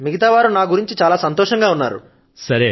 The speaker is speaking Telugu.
మిగతా వారు నా గురించి చాలా సంతోషం గా ఉన్నారు